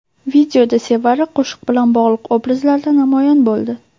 Videoda Sevara qo‘shiq bilan bog‘liq obrazlarda namoyon bo‘ldi.